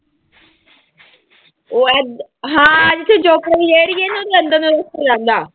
ਉਹ ਹੈ ਹਾਂ ਜਿੱਥੇ ਚੋਪੜੇ ਦੀ ਰੇਹੜੀ ਹੈ ਨਾ ਉਹਦੇ ਅੰਦਰ ਰਸਤਾ ਜਾਂਦਾ।